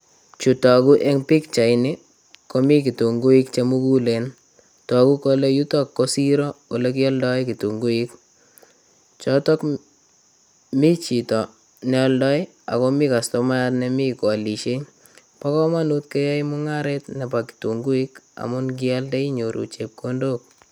Chu toku eng' pikchaini komi kitunguik chemugulen toku kole yuto ko siro ole kioldoe kitunguik choto mi chito neoldoi akomi kastomayat nemi koolishei bo kamanut keyoei mung'aret nebo kitunguik amun ngialde inyoru chepkondok